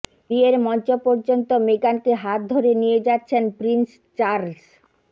বিয়ের মঞ্চ পর্যন্ত মেগানকে হাত ধরে নিয়ে যাচ্ছেন প্রিন্স চার্লস